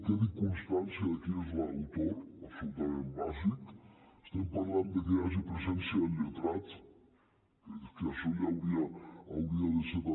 quedi constància de qui n’és l’autor absolutament bàsic estem parlant de que hi hagi presència del lletrat que això ja hauria de ser també